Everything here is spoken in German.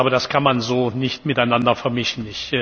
Das kann man so nicht miteinander vermischen.